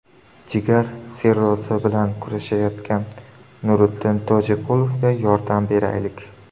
Jigar sirrozi bilan kurashayotgan Nuriddin Tojiqulovga yordam beraylik!.